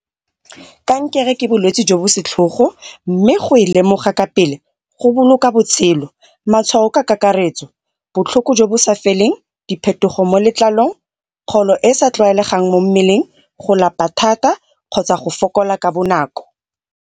Kankere ke bolwetsi jo bo setlhogo, mme go e lemoga ka pele go boloka botshelo. Matshwao ka kakaretso botlhoko bo bo sa feleng, diphetogo mo letlalong, e e sa tlwaelegang mo mmeleng, go lapa thata kgotsa go fokola ka bonako.